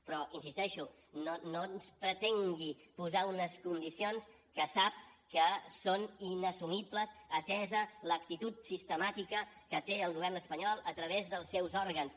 però hi insisteixo no pretengui posar nos unes condicions que sap que són inassumibles atesa l’actitud sistemàtica que té el govern espanyol a través dels seus òrgans